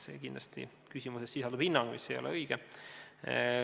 Teie küsimuses sisalduv hinnang ei ole kindlasti õige.